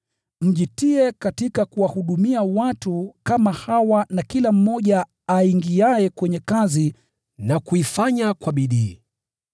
mjitie katika kuwahudumia watu kama hawa na kila mmoja aingiaye kwenye kazi na kuifanya kwa bidii.